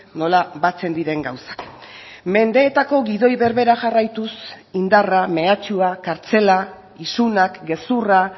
nola batzen diren gauzak mendeetako gidoi berbera jarraituz indarra mehatxua kartzela isunak gezurra